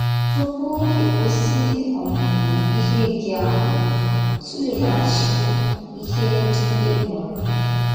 Tupu ị kwụsị ọmụmụ ihe gị ahụ, tụleghachi ihe ndị ị mụrụ.